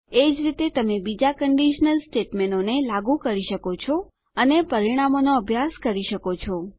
એ જ રીતે તમે બીજાં કંડીશનલ સ્ટેટમેંટોને લાગું કરી શકો છો અને પરિણામોનો અભ્યાસ કરી શકો છો